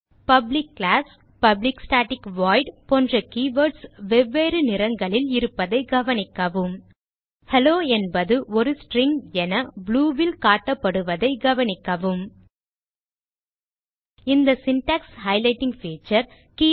public class public static void போன்ற keywords வெவ்வேறு நிறங்களில் இருப்பதை கவனிக்கவும் Helloஎன்பது ஒரு ஸ்ட்ரிங் என blue வில் காட்டப்படுவதை கவனிக்கவும் இந்த சின்டாக்ஸ் ஹைலைட்டிங் பீச்சர்